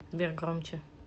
сбер громче